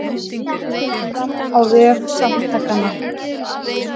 Þetta kemur fram á vef Samtakanna